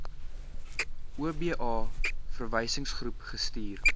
oba verwysingsgroep gestuur